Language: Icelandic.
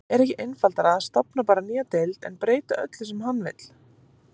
Er ekki einfaldara að stofna bara nýja deild en breyta öllu sem hann vill?